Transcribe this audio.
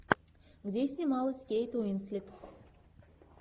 где снималась кейт уинслет